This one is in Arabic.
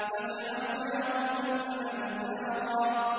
فَجَعَلْنَاهُنَّ أَبْكَارًا